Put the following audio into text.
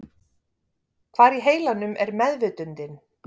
Hvar í heilanum er meðvitundin?